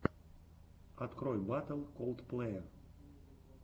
открой батл колдплэя